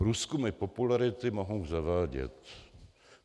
Průzkumy popularity mohou zavádět.